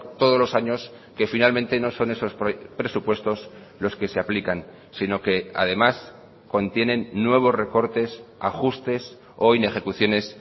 todos los años que finalmente no son esos presupuestos los que se aplican sino que además contienen nuevos recortes ajustes o inejecuciones